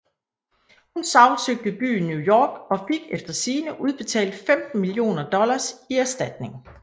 Hun sagsøgte byen New York og fik efter sigende udbetalt 15 millioner dollars i erstatning